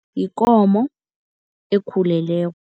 Yikomo ekhuleleko.